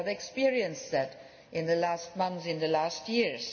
area. We have experienced that in the last month, in the last